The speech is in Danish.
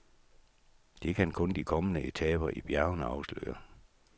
Det kan kun de kommende etaper i bjergene afsløre.